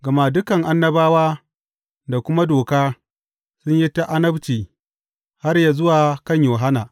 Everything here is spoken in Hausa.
Gama dukan Annabawa da kuma Doka sun yi ta annabci har yă zuwa kan Yohanna.